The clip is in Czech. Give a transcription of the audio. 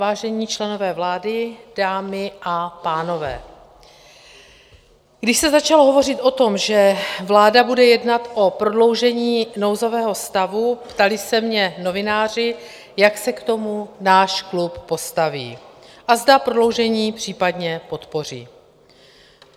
Vážení členové vlády, dámy a pánové, když se začalo hovořit o tom, že vláda bude jednat o prodloužení nouzového stavu, ptali se mě novináři, jak se k tomu náš klub postaví a zda prodloužení případně podpoří.